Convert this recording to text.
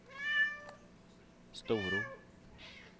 Storå